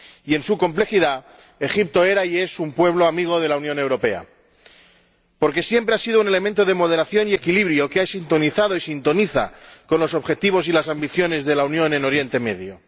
Y en su complejidad, Egipto era y es un pueblo amigo de la Unión Europea, porque siempre ha sido un elemento de moderación y equilibrio que ha sintonizado y sintoniza con los objetivos y las ambiciones de la Unión en Oriente Próximo.